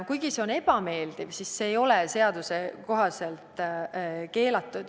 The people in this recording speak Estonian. Kuigi see on ebameeldiv, ei ole see seaduse kohaselt keelatud.